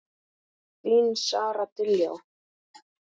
Þín Sara Diljá.